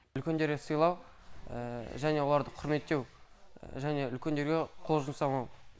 үлкендерді сыйлау және оларды құрметтеу және үлкендерге қол жұмсамау